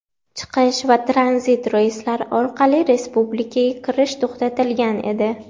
chiqish va tranzit reyslar orqali respublikaga kirish) to‘xtatilgan edi.